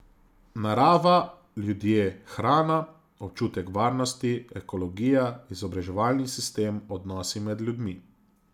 Narava, ljudje, hrana, občutek varnosti, ekologija, izobraževalni sistem, odnosi med ljudmi.